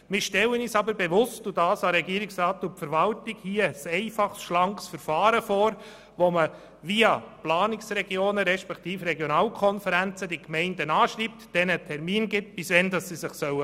Wir stellen uns aber bewusst – und dies geht an die Adresse von Regierungsrat und Verwaltung – ein einfaches, schlankes Verfahren vor, mit welchem die Gemeinden via Planungsregionen respektive Regionalkonferenzen angeschrieben und diesen eine Frist gesetzt wird, bis wann sie sich melden sollen.